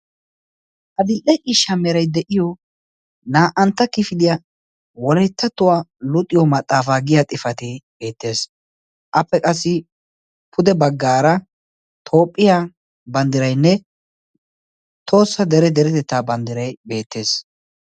adil"e i shamerai de'iyo naa"antta kifidiyaa woletta tuwaa luuxiyo maxaafaa giya xifatee beettees appe qassi pude baggaara toophphiyaa banddirainne toossa dere deretettaa banddirai beettees.